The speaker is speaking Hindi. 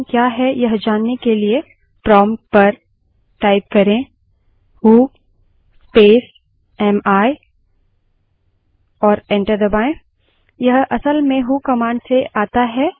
आपका यूज़रनेम username क्या है यह जानने के लिए prompt पर who space am space i type करें और enter दबायें